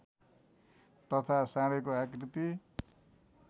तथा साँढेको आकृति